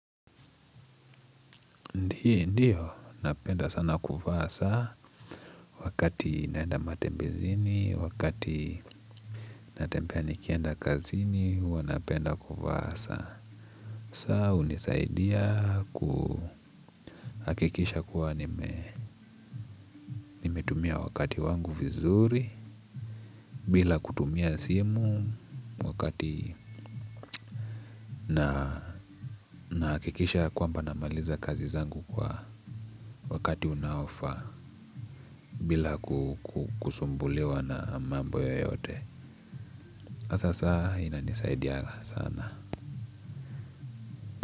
Ndiyo, napenda sana kuvaa saa, wakati naenda matembezini, wakati natembea nikienda kazini, huwa napenda kuvaa saa. Saa hunisaidia kuhakikisha kuwa nimetumia wakati wangu vizuri, bila kutumia simu wakati na nahakikisha ya kwamba namaliza kazi zangu kwa wakati unaofaa, bila kusumbuliwa na mambo yoyote. Sasa inanisaidianga sana.